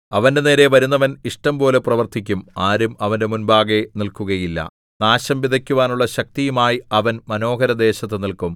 അവന്റെനേരെ വരുന്നവൻ ഇഷ്ടംപോലെ പ്രവർത്തിക്കും ആരും അവന്റെ മുമ്പാകെ നില്‍ക്കുകയില്ല നാശം വിതയ്ക്കുവാനുള്ള ശക്തിയുമായി അവൻ മനോഹരദേശത്തു നില്ക്കും